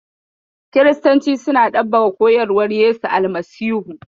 Kiristanci suna ɗabbaƙa koyarwa Yesu Almasihu.